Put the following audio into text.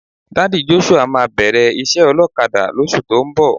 Daddy Joshua máa bẹ̀rẹ̀ iṣẹ́ ọlọ́kadà lóṣù tó ń bọ̀.